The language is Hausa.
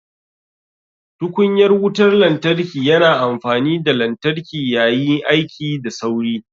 Tukunyar wutar lantarki yana amfani da lantarki yayi aiki da sauri.